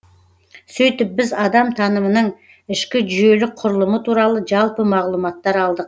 сөйтіп біз адам танымының ішкі жүйелік құрылымы туралы жалпы мағлұматтар алдық